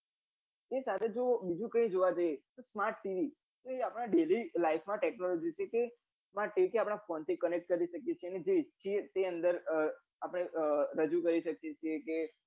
એના સાથે જો બીજું કઈ જોવા જઈએ તો smart tv એ આપના daily life technology ને આપદા phone થી connect કરી શકીએ છીએ અને જે છે એને રજુ